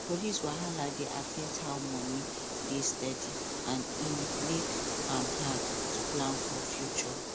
police wahala dey affect how money dey steady and e make am hard to plan for future